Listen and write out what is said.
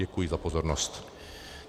Děkuji za pozornost.